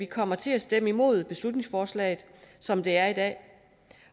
kommer til at stemme imod beslutningsforslaget som det er i dag